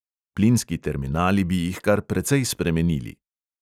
Plinski terminali bi jih kar precej spremenili.